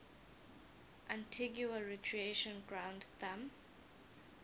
antigua recreation ground thumb